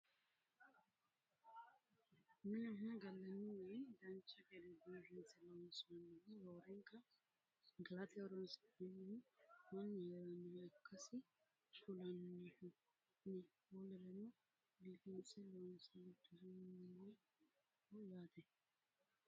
minunna gallanni mini dancha gede biifinse loonsoonnihu roorenka galate horonsi'nanihu mannu heerannoha ikkasi kulannohhu no wolereno biifinse loonse gicndoonniho yaate